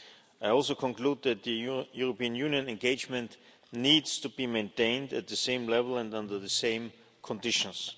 I also conclude that the European Union engagement needs to be maintained at the same level and under the same conditions.